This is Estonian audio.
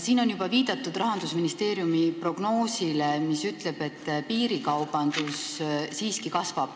Siin on juba viidatud Rahandusministeeriumi prognoosile, mis ütleb, et piirikaubandus siiski kasvab.